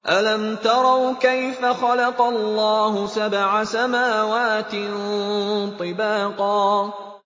أَلَمْ تَرَوْا كَيْفَ خَلَقَ اللَّهُ سَبْعَ سَمَاوَاتٍ طِبَاقًا